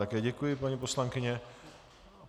Také děkuji, paní poslankyně.